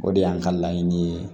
O de y'an ka laɲini ye